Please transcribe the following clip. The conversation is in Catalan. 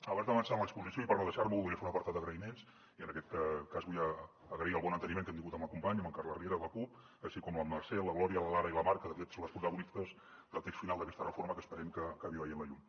abans d’avançar en l’exposició i per no deixar m’ho voldria fer un apartat d’agraïments i en aquest cas vull agrair el bon enteniment que hem tingut amb el company amb en carles riera de la cup així com la mercè la glòria la lara i la mar que de fet són les protagonistes del text final d’aquesta reforma que esperem que acabi veient la llum